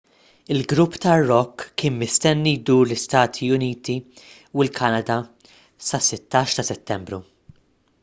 il-grupp tar-rock kien mistenni jdur l-istati uniti u l-kanada sas-16 ta' settembru